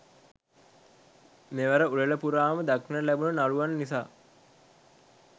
මෙවර උළෙල පුරාම දක්නට ලැබුණු නළුවන් නිසා